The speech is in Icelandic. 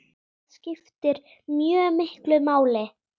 Það skiptir mjög miklu máli.